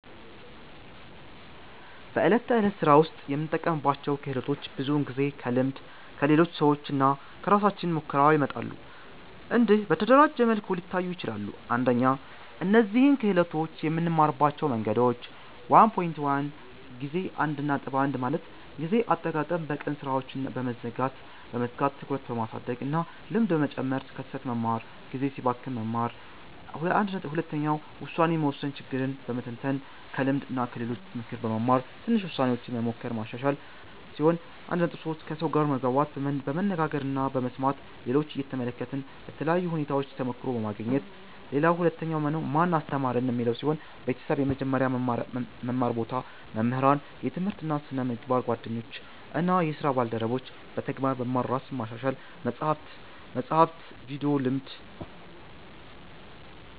በዕለት ተዕለት ሥራ ውስጥ የምንጠቀምባቸው ክህሎቶች ብዙውን ጊዜ ከልምድ፣ ከሌሎች ሰዎች እና ከራሳችን ሙከራ ይመጣሉ። እንዲህ በተደራጀ መልኩ ሊታዩ ይችላሉ፦ 1) እነዚህን ክህሎቶች የምንማርባቸው መንገዶች 1.1 ጊዜ አጠቃቀም በቀን ሥራዎችን በመዝጋት ትኩረት በማድረግ እና ልምድ በመጨመር ከስህተት በመማር (ጊዜ ሲባክን መማር) 1.2 ውሳኔ መወሰን ችግርን በመተንተን ከልምድ እና ከሌሎች ምክር በመማር ትንሽ ውሳኔዎች በመሞከር ማሻሻል 1.3 ከሰው ጋር መግባባት በመነጋገር እና በመስማት ሌሎችን እየተመለከትን በተለያዩ ሁኔታዎች ተሞክሮ በማግኘት 2) ማን አስተማረን? ቤተሰብ – የመጀመሪያ መማር ቦታ መምህራን – የትምህርት እና ስነ-ምግባር ጓደኞች እና ስራ ባልደረቦች – በተግባር መማር ራስን ማሻሻል – መጻሕፍት፣ ቪዲዮ፣ ልምድ